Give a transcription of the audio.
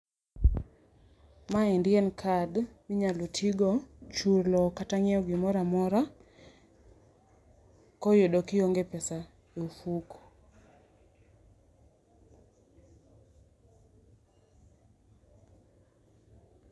Maendi en card minyalo tigo, chulo kata nyiewo gimoro amora koyudo kionge pesa e ofuko.